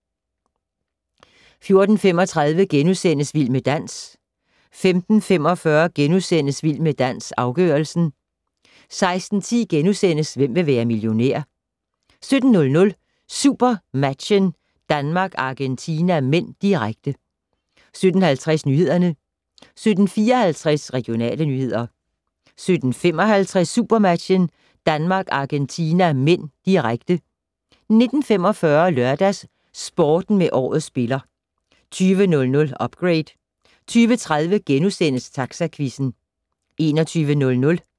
14:35: Vild med dans * 15:45: Vild med dans - afgørelsen * 16:10: Hvem vil være millionær? * 17:00: SuperMatchen: Danmark-Argentina (m), direkte 17:50: Nyhederne 17:54: Regionale nyheder 17:55: SuperMatchen: Danmark-Argentina (m), direkte 19:45: LørdagsSporten med Årets spiller 20:00: Upgrade 20:30: Taxaquizzen *